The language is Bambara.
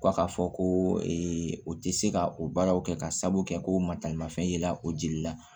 Ko ka fɔ ko o tɛ se ka o baaraw kɛ ka sabu kɛ ko matalimafɛn yela o jeli la